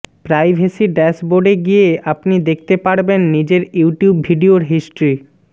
privacy ড্যাসবোর্ডে গিয়ে আপনি দেখতে পারবেন নিজের ইউটিউব ভিডিওর হিস্ট্রি